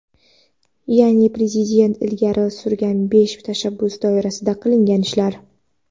Ya’ni Prezident ilgari surgan besh tashabbus doirasida qilingan ishlar.